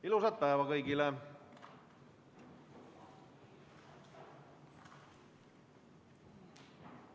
Ilusat päeva kõigile!